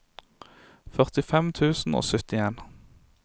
førtifem tusen og syttien